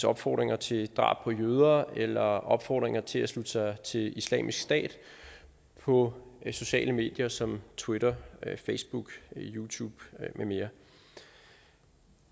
opfordringer til drab på jøder eller opfordringer til at slutte sig til islamisk stat på sociale medier som twitter facebook youtube med mere